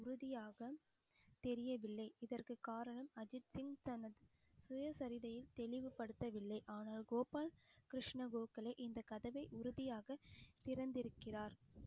உறுதியாக தெரியவில்லை இதற்கு காரணம் அஜித் சிங் தனது சுயசரிதையை தெளிவுபடுத்தவில்லை ஆனால் கோபால கிருஷ்ண கோகலே இந்த கதவை உறுதியாக திறந்திருக்கிறார்